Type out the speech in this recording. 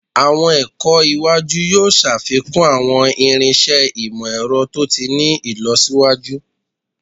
Awọn ẹkọ iwaju yoo ṣafikun awọn irinṣẹ imọ-ẹrọ to ti ni ilọsiwaju